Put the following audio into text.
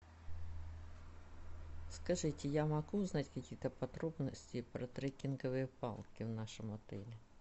скажите я могу узнать какие то подробности про треккинговые палки в нашем отеле